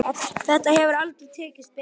Þetta hefur aldrei tekist betur.